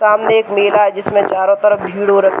सामने एक मेला है जिसमें चारो तरफ भीड़ हो र --